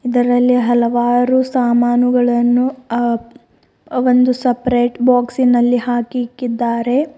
ಇದರಲ್ಲಿ ಹಲವಾರು ಸಾಮಾನುಗಳನ್ನೂ ಅ ಒಂದು ಸಪರೇಟ್ ಬಾಕ್ಸಿನಲ್ಲಿ ಹಾಕಿ ಇಕ್ಕಿದ್ದಾರೆ.